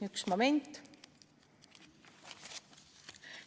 Üks moment!